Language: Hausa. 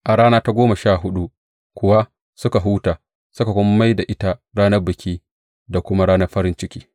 A rana ta goma sha huɗu kuwa suka huta, suka kuma mai da ita ranar biki da kuma ta farin ciki.